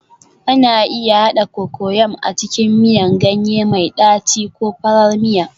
Ana iya haɗa Cocoyam a cikin miyan ganye mai ɗaci ko farar miya